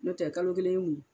No tɛ kalo kelen ye mun ye.